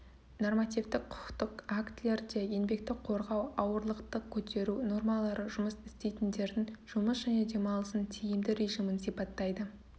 нормативтік құқықтық актілерде еңбекті қорғау ауырлықты көтеру нормалары жұмыс істейтіндердің жұмыс және демалысының тиімді режимін сипаттайды